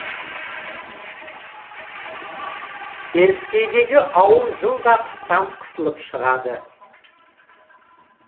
теріскейдегі ауыл жылда қыстан қысылып шығады